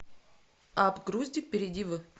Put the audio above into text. апп груздик перейди в